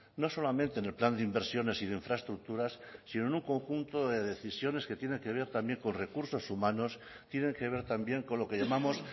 no solamente en el plan de inversiones y de infraestructuras sino en un conjunto de decisiones que tiene que ver también con recursos humanos tienen que ver también con lo que llamamos